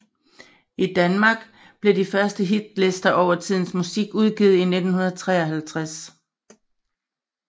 I Danmark blev de første hitlister over tidens musik udgivet i 1953